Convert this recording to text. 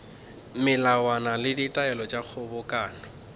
melawana le ditaelo tša kgobokano